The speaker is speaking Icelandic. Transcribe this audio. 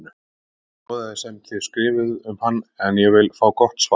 Ég skoðaði sem þið skrifuðuð um hann en ég vil fá gott svar!